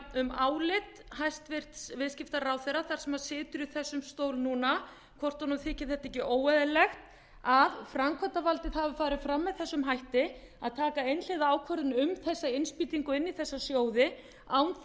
um álit hæstvirtur viðskiptaráðherra þess sem situr í þessum stól núna hvort honum þyki þetta ekki óeðlilegt að framkvæmdarvaldið hafi farið fram með þessu hætti að taka einhliða ákvörðun um þessa innspýtingu inn í þessa sjóði án